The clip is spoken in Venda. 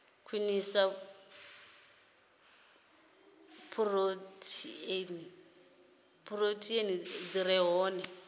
khwinisa phurotheini dzi re hone